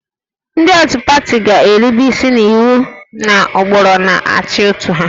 Ndị otu pati ga-erube isi n'iwu na ụkpụrụ na-achị otu ha